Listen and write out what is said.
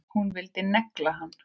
Hún vildi negla hann!